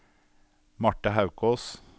Marthe Haukås